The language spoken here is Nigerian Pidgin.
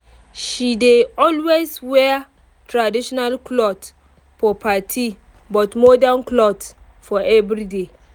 she dey always wear traditional cloth for party but modern cloth for everyday